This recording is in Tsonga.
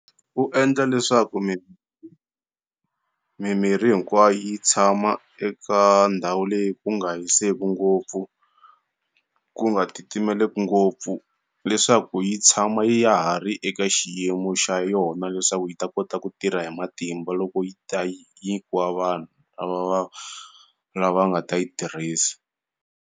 U endla leswaku mimirhi hinkwayo yi tshama eka ndhawu leyi ku nga hiseki ngopfu ku nga titimeleku ngopfu leswaku yi tshama ya ha ri eka xiyimo xa yona leswaku yi ta kota ku tirha hi matimba loko yi ta nyikiwa vanhu lava va lava nga ta yi tirhisa.